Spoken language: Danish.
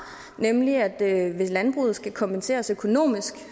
nemlig at hvis landbruget skal kompenseres økonomisk